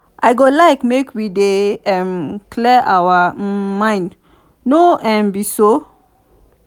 i go like make we dey um clear our um minds no um be so?